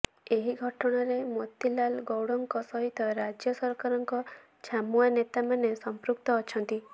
ଏହି ଘଟଣାରେ ମୋତିଲାଲ୍ ଗୌଡ଼ଙ୍କ ସହିତ ରାଜ୍ୟ ସରକାରଙ୍କ ଛାମୁଆ ନେତାମାନେ ସଂପୃକ୍ତ ଅଛନ୍ତି